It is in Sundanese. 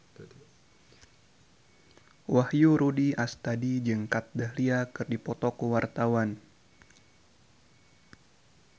Wahyu Rudi Astadi jeung Kat Dahlia keur dipoto ku wartawan